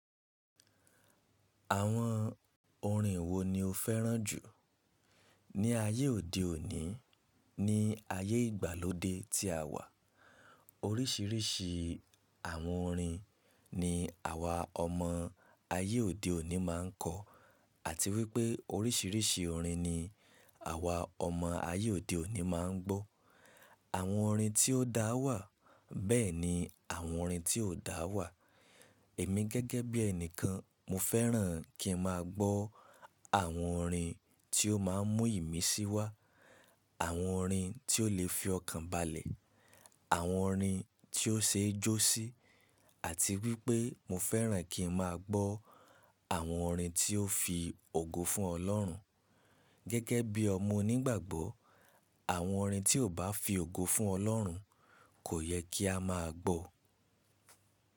Àwọn orin wo ni o fẹ́ràn jù? Ni ayé òde òní, ní ayé ìgbàlódé tí a wà, oríṣiríṣi àwọn orin ni àwa ọmọ ayé òde òní máa ń kọ. Àti wípé oríṣiríṣi orin ni àwa ọmọ ayé òde òní máa ń gbọ́. Àwọn orin tí ó dá wà, bẹ́ẹ̀ ni àwọn orin tí ò dá wà. Èmi gẹ́gẹ́ bí ẹni kan, mo fẹ́ràn kí n máa gbọ́ àwọn orin tí ó máa ń mú ìmísí wá. Àwọn orin tí ó lè fi ọkàn balẹ̀, àwọn orin tí ó ṣe é jó sí, àti wípé mo fẹ́ràn kí n máa gbọ́ àwọn orin tí ó fi ògo fún ọlọ́run. Gẹ́gẹ́ bí ọmọ onígbàgbọ́, àwọn orin tí ò bá fi ògo fún ọlọ́run kò yẹ kí a máa gbọ́.